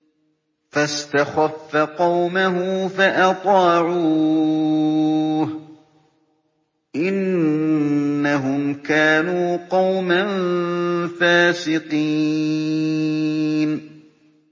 فَاسْتَخَفَّ قَوْمَهُ فَأَطَاعُوهُ ۚ إِنَّهُمْ كَانُوا قَوْمًا فَاسِقِينَ